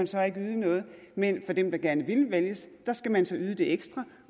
så ikke yde noget men dem der gerne vil vælges skal så yde det ekstra